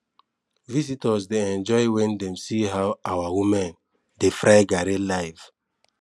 visitors dey enjoy when dem see how our women dey fry garri live